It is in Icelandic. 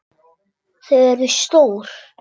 Þau eru stór.